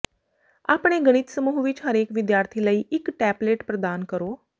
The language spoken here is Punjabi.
ਆਪਣੇ ਗਣਿਤ ਸਮੂਹ ਵਿੱਚ ਹਰੇਕ ਵਿਦਿਆਰਥੀ ਲਈ ਇੱਕ ਟੈਪਲੇਟ ਪ੍ਰਦਾਨ ਕਰੋ